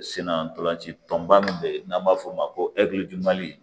Senna ntolanci tɔnba min bɛ yen n'an b'a f'o ma ko